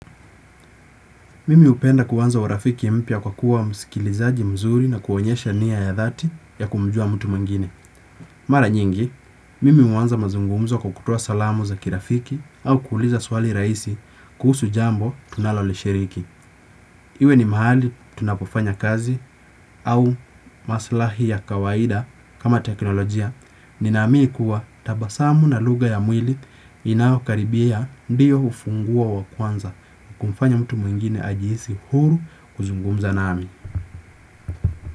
Mimi hupenda kuanza urafiki mpya kwa kuwa msikilizaji mzuri na kuonyesha niya ya dhati ya kumjua mtu mwingine. Mara nyingi, mimi huwanza mazungumzo kwa kutoa salamu za kirafiki au kuuliza swali rahisi kuhusu jambo tunalolishiriki. Iwe ni mahali tunapofanya kazi au maslahi ya kawaida kama teknolojia. Ninaamini kuwa tabasamu na lugha ya mwili inayokaribia ndiyo hufunguo wa kwanza wa kumfanya mtu mwingine ajihisi huru kuzungumza nami.